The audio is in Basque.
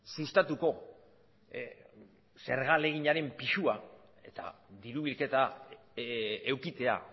sustatuko zerga ahaleginaren pisua eta diru bilketa edukitzea